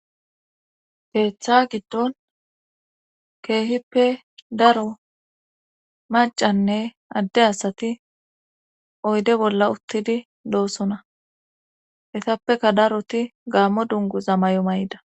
Keeththa giddon keehippe daro macanne adde asati oyde bolla uttidi doosona etappeka daroti gaammo dungu zamay7o may7da.